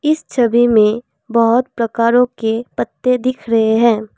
इस छवि में बहोत प्रकारों के पत्ते दिख रहे हैं।